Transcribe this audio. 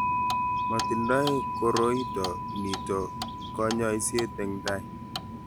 mating'doi koroito nito kanyoisiet eng' tai